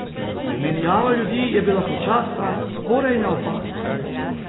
Menjava ljudi je bila počasna, skoraj neopazna.